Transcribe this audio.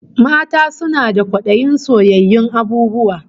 Mata suna da kwadayin soyayyun abububwa